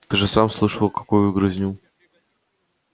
ты же сам слышал какую грызню